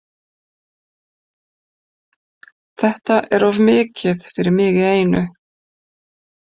Þetta er of mikið fyrir mig í einu.